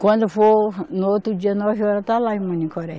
Quando for no outro dia, nove horas, está lá em Manicoré.